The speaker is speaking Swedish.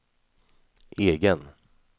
egen